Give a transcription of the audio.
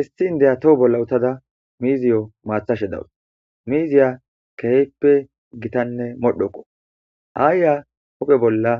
isti indeya toho bolla uttada miziyo maathashe dawus miiziya keheeppe gitanne modhoqo aayya hophe bolla